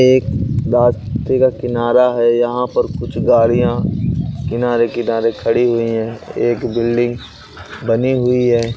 एक बास ती का किनारा है। यहाँ पर कुछ गाड़ियां किनारे-किनारे खड़ी हुई हैं। एक बिल्डिंग बनी हुई है।